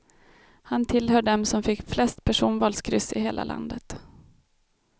Han tillhör dem som fick flest personvalskryss i hela landet.